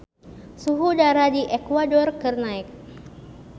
Suhu udara di Ekuador keur naek